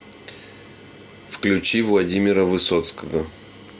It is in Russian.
включи владимира высоцкого